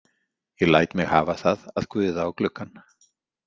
Ég læt mig hafa það að guða á gluggann.